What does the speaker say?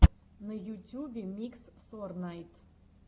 на ютюбе микс сорнайд